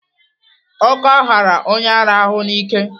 Ọkọ ghara onye ara ahụ n'ike.